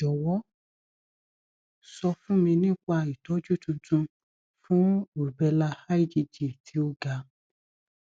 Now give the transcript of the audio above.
jọwọ sọ fún mi nípa ìtọjú tuntun fún rubella igg tí ó ga